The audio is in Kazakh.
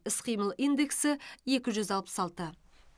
іс қимыл индексі екі жүз алпыс алты